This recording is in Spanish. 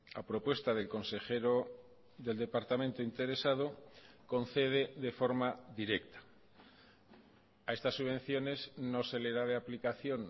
a propuesta del consejero del departamento interesado concede de forma directa a estas subvenciones no se le da de aplicación